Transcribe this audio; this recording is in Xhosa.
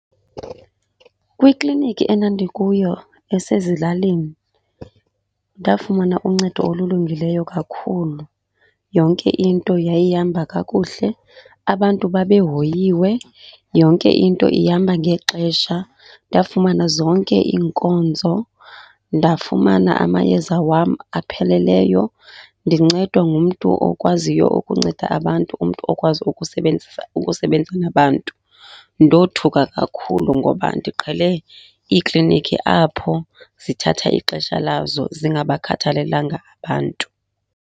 Kwiklinikhi endandikuyo esezilalini, ndafumana uncedo olulungileyo kakhulu. Yonke into yayihamba kakuhle, abantu babe hoyiwe, yonke into ihamba ngexesha. Ndafumana zonke iinkonzo, ndafumana amayeza wam apheleleyo, ndincedwa ngumntu okwaziyo ukunceda abantu umntu okwazi ukusebenzisa, ukusebenza nabantu. Ndothuka kakhulu ngoba ndiqhele iiklinikhi apho zithatha ixesha lazo, zingabakhathalelanga abantu.